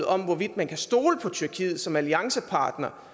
om hvorvidt man kan stole på tyrkiet som alliancepartner